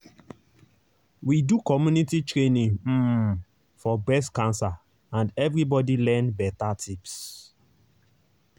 we do community training um for breast cancer and everybody learn better tips